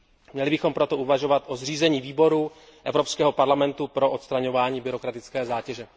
Měli bychom proto uvažovat o zřízení výboru Evropského parlamentu pro odstraňovaní byrokratické zátěže.